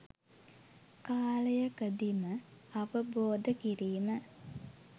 කාලයකදීම අවබෝධ කිරීම